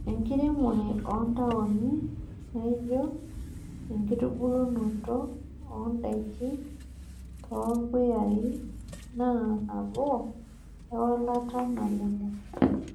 Enkiremore ontaoni naijio enkitubulunoto ondaikin torpuyai naa nabo ewalata nalelek .